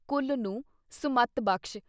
ਕੁੱਲ ਨੂੰ ਸੁਮੱਤ ਬਖ਼ਸ਼।